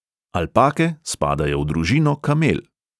Alpake spadajo v družino kamel.